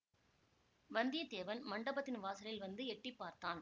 வந்தியத்தேவன் மண்டபத்தின் வாசலில் வந்து எட்டி பார்த்தான்